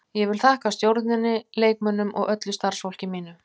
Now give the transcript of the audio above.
Ég vil þakka stjórninni, leikmönnunum og öllu starfsfólki mínu.